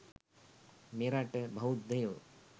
මෙරට බෞද්ධයෝ